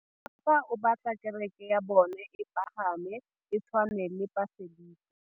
Mopapa o batla kereke ya bone e pagame, e tshwane le paselika.